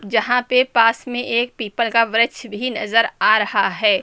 जहां पे पास में एक पीपल का वृक्ष भी नजर आ रहा है।